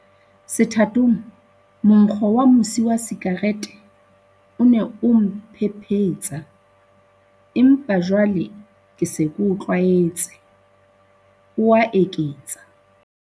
"Sethatong, monkgo wa mosi wa sikarete o ne o mphephe tsa, empa jwale ke se ke o tlwaetse," o a eketsa.